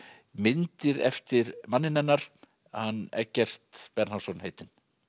myndir eftir manninn hennar hann Eggert Bernharðsson heitinn